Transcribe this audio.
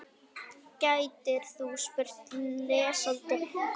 gætir þú spurt, lesandi góður.